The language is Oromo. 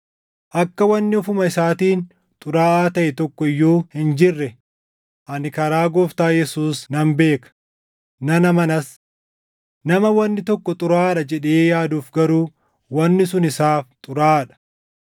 Akka wanni ofuma isaatiin xuraaʼaa taʼe tokko iyyuu hin jirre ani karaa Gooftaa Yesuus nan beeka; nan amanas. Nama wanni tokko xuraaʼaadha jedhee yaaduuf garuu wanni sun isaaf xuraaʼaa dha.